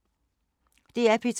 DR P2